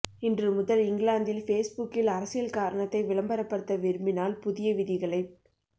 இன்று முதல் இங்கிலாந்தில் பேஸ்புக்கில் அரசியல் காரணத்தை விளம்பரப்படுத்த விரும்பினால் புதிய விதிகளை ப